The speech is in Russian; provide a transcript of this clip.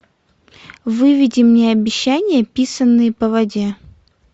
выведи мне обещания писанные по воде